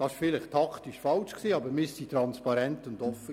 Das war vielleicht taktisch falsch, aber wir waren transparent und offen.